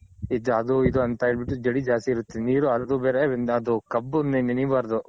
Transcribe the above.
ಇದು ಅಂತ ಹೇಳ್ ಬಿಟ್ಟು ಜಡಿ ಜಾಸ್ತಿ ಇರುತ್ತೆ ನೀರು ಹರ್ದು ಬೇರೆ ಅದು ಕಬ್ಬು ನೆನಿಬಾರ್ದು.